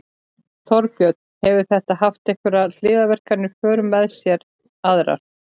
Þorbjörn: Hefur þetta haft einhverjar hliðarverkanir í för með sér aðrar?